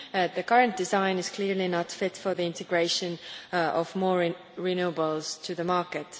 The current design is clearly not fit for the integration of more renewables into the market.